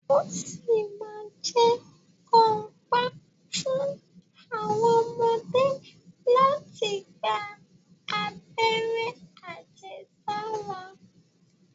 Ó ṣì ma ma jẹ́ kàńpá fún àwọn ọmọdé láti gba abẹ́rẹ́ àjẹsára.